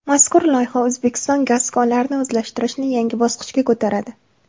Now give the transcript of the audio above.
Mazkur loyiha O‘zbekiston gaz konlarini o‘zlashtirishni yangi bosqichga ko‘taradi.